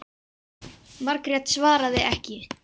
Margrét svaraði ekki.